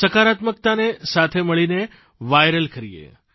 સકારાત્મકતાને સાથે મળીને વાયરલ કરીએ